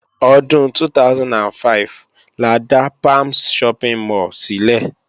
Ọdún 2005 la dá Palms Shopping mall sílẹ̀